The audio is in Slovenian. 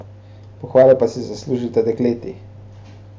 Pohvale pa si zaslužita dekleti.